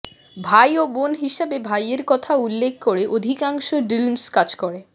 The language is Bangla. ভাই ও বোন হিসেবে ভাইয়ের কথা উল্লেখ করে অধিকাংশ ডিলম্মস কাজ করে